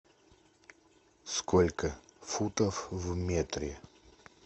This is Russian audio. сколько футов в метре